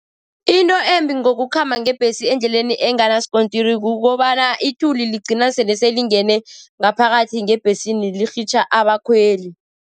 Into embi ngokukhamba ngebhesi endleleni enganaskontiri kukobana ithuli ligcina sele selingene ngaphakathi ngebhesini, lirhitjha abakhweli.